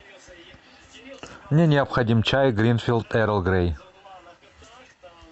мне необходим чай гринфилд эрл грей